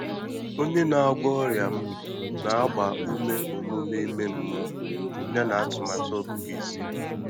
Ọ́nyé nà-àgwọ́ ọ́rị́à m nà-àgbá úmé ọ́mụ́mé ímé mmụ́ọ́ yànà àtụ́màtụ́ ọ́gụ́gụ́ ísí.